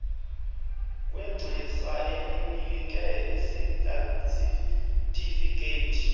kwegcisa elinike isatifikhethi